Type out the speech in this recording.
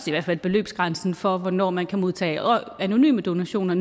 fald beløbsgrænsen ned for hvornår man kan modtage anonyme donationer